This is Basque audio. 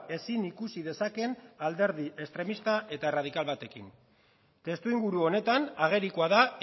ezin ikusi dezakeen alderdi estremista eta erradikal batekin testu inguru honetan agerikoa da